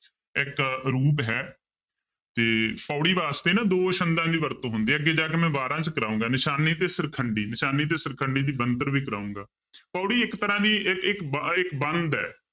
ਇੱਕ ਰੂਪ ਹੈ ਤੇ ਪਾਉੜੀ ਵਾਸਤੇ ਨਾ ਦੋ ਛੰਦਾਂ ਦੀ ਵਰਤੋਂ ਹੁੰਦੀ ਹੈ ਅੱਗੇ ਜਾ ਕੇ ਮੈਂ ਵਾਰਾਂ 'ਚ ਕਰਾਵਾਂਗਾ, ਨਿਸ਼ਾਨੀ ਤੇ ਸਿਰਖੰਡੀ, ਨਿਸ਼ਾਨੀ ਤੇ ਸਿਰਖੰਡੀ ਦੀ ਬਣਤਰ ਵੀ ਕਰਾਵਾਂਗਾ ਪਾਉੜੀ ਇੱਕ ਤਰ੍ਹਾਂ ਦੀ ਇੱ~ ਇੱਕ ਬ~ ਇੱਕ ਬੰਧ ਹੈ।